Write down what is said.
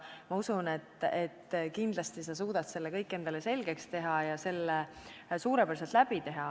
Ma usun, et kindlasti sa suudad selle kõik endale selgeks teha ja selle suurepäraselt läbi teha.